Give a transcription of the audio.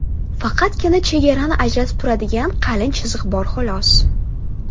Faqatgina chegarani ajratib turadigan qalin chiziq bor xolos.